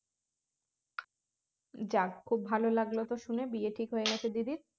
যাক খুব ভালো লাগল তো শুনে বিয়ে ঠিক হয়ে গেছে দিদির